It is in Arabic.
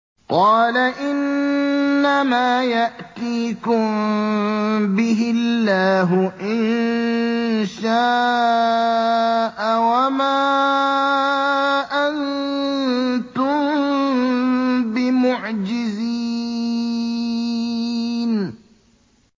قَالَ إِنَّمَا يَأْتِيكُم بِهِ اللَّهُ إِن شَاءَ وَمَا أَنتُم بِمُعْجِزِينَ